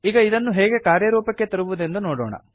ಈಗ ಇದನ್ನು ಹೇಗೆ ಕಾರ್ಯರೂಪಕ್ಕೆ ತರುವುದೆಂದು ನೋಡೋಣ